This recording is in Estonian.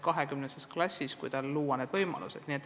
20 lapsega tavaklassis saaks talle ehk paremad võimalused luua.